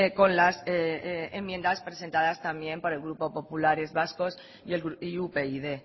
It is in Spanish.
con las enmiendas presentadas también por el grupo populares vascos y upyd